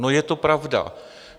No, je to pravda.